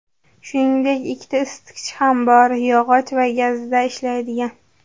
Shuningdek, ikkita isitgich ham bor: yog‘och va gazda ishlaydigan.